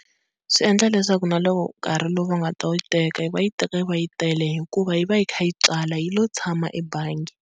Swi endla leswaku na loko nkarhi lowu va nga ta yi teka, va yi teka yi va yi tele hikuva yi va yi kha yi tswala yi lo tshama ebangi.